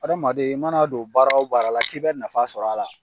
Adamaden i mana don baara o baara la k'i bɛ nafa sɔr'a la